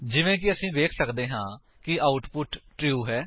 ਜਿਵੇਂ ਕਿ ਅਸੀ ਵੇਖ ਸੱਕਦੇ ਹਾਂ ਕਿ ਆਉਟਪੁਟ ਟਰੂ ਹੈ